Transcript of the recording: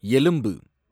எலும்பு